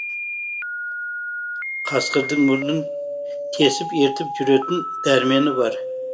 қасқырдың мұрнын тесіп ертіп жүретін дәрмені бар